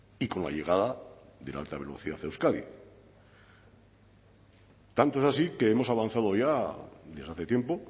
y con la llegada de la alta velocidad a euskadi tanto es así que hemos avanzado ya desde hace tiempo